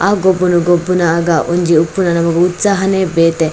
ಆ ಗೊಬ್ಬುನ ಗೊಬ್ಬುನ ಆದ್ದಾವ್ ಒಂಜಿ ಉಪ್ಪುನ ನಮಕ್ ಉತ್ಸಾಹನೆ ಬೇತೆ.